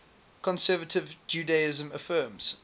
conservative judaism affirms